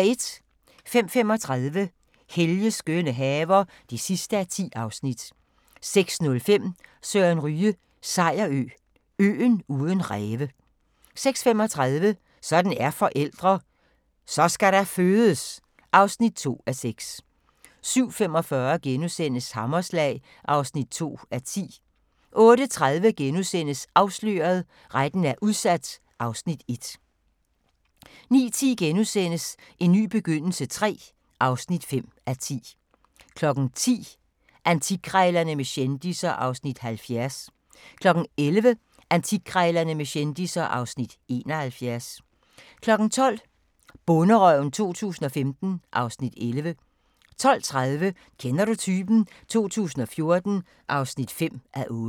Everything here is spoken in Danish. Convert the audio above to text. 05:35: Helges skønne haver (10:10) 06:05: Søren Ryge: Sejerø – øen uden ræve 06:35: Sådan er forældre – Så skal der fødes! (2:6) 07:45: Hammerslag (2:10)* 08:30: Afsløret – Retten er udsat (Afs. 1)* 09:10: En ny begyndelse III (5:10)* 10:00: Antikkrejlerne med kendisser (Afs. 70) 11:00: Antikkrejlerne med kendisser (Afs. 71) 12:00: Bonderøven 2015 (Afs. 11) 12:30: Kender du typen? 2014 (5:8)